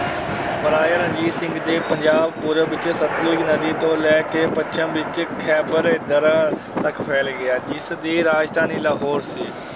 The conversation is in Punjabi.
ਮਹਾਰਾਜਾ ਰਣਜੀਤ ਸਿੰਘ ਦੇ ਪੰਜਾਬ ਪੂਰਬ ਵਿੱਚ ਸਤਲੁਜ ਨਦੀ ਤੋਂ ਲੈ ਕੇ ਪੱਛਮ ਵਿੱਚ ਖੈਬਰ ਦਰਾ ਤੱਕ ਫੈਲ ਗਿਆ, ਜਿਸ ਦੀ ਰਾਜਧਾਨੀ ਲਾਹੌਰ ਸੀ।